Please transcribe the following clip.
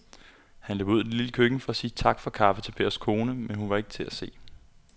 Han løb ud i det lille køkken for at sige tak for kaffe til Pers kone, men hun var ikke til at se.